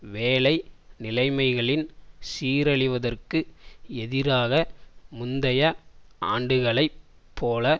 வேலை நிலைமைகளின் சீரழிவதற்கு எதிராக முந்தைய ஆண்டுகளைப் போல